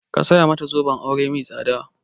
Ka saya mata zoben aure mai tsada!